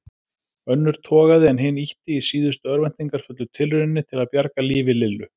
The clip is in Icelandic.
Önnur togaði en hin ýtti í síðustu örvæntingarfullu tilrauninni til að bjarga lífi Lillu.